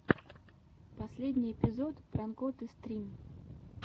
последний эпизод пранкоты стрим